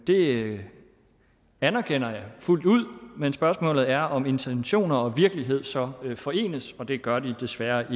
det anerkender jeg fuldt ud men spørgsmålet er om intentioner og virkelighed så forenes og det gør de desværre